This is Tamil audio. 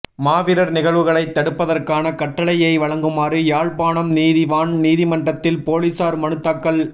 மாவீரர் நிகழ்வுகளைத் தடுப்பதற்கான கட்டளையை வழங்குமாறு யாழ்ப்பாணம் நீதிவான் நீதிமன்றில் பொலிஸார் மனுத் தாக்கல்